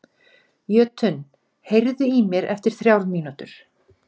Jötunn, heyrðu í mér eftir þrjár mínútur.